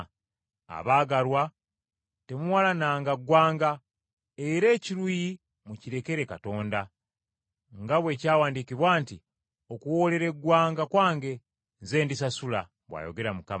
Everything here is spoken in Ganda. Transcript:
abaagalwa, temuwalananga ggwanga, era ekiruyi mukirekere Katonda, nga bwe kyawandiikibwa nti, “Okuwoolera eggwanga kwange, nze ndisasula,” bw’ayogera Mukama.